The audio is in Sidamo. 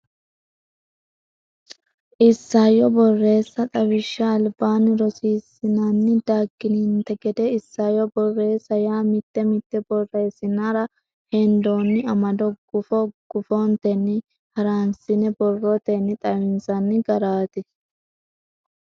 Isayyo Borreessa Xawishsha Albaanni rossinanni daggininte gede isayyo borreessa yaa mitte mitte borreessinara hendoonni amado gufo gufontenni haransine borrotenni xawinsanni garaati.